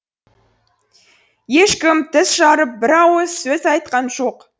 ешкім тіс жарып бір ауыз сөз айтқан жоқ